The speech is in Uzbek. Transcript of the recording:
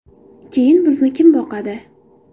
Keyin bizni kim boqadi?